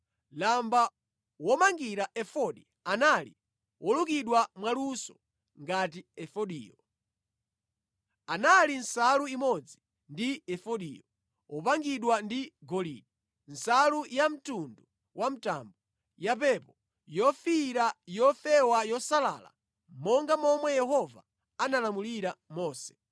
Lamba womangira efodi anali wolukidwa mwaluso ngati efodiyo. Anali nsalu imodzi ndi efodiyo, wopangidwa ndi golide, nsalu yamtundu wa mtambo, yapepo, yofiira, yofewa yosalala, monga momwe Yehova analamulira Mose.